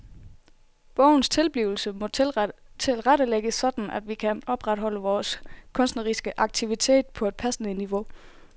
Bogens tilblivelse må tilrettelægges sådan at vi kan opretholde vores kunstneriske aktivitet på et passende niveau.